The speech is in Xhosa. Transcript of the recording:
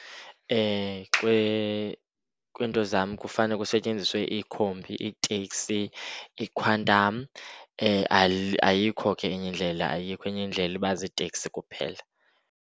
Kwiinto zam kufane kusetyenziswe iikhombi, iiteksi, iikhwantam, ayikho ke enye indlela, ayikho enye indlela. Iba ziitekisi kuphela.